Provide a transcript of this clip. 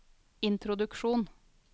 introduksjon